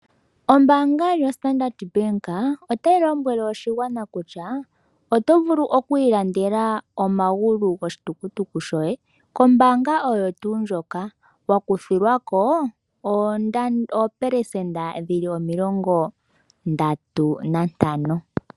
Ombaanga yaStandard Bank otayi lombwele oshigwana kutya ,oto vulu oku ilandela omagulu goshitukutuku shoye kombaanga oyo tuu ndjoka, wa kuthilwako oopelesenda omilongo Ndatu nantano.